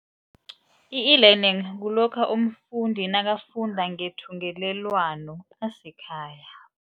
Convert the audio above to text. I-e-learning kulokha umfundi nakafunda ngethungelelwano asekhaya.